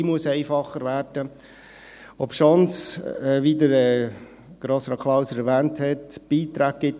Die Bürokratie muss einfacher werden, obschon es, wie Grossrat Klauser erwähnt hat, Beiträge gibt.